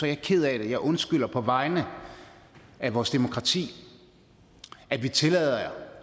jeg ked af og undskylder på vegne af vores demokrati at vi tillader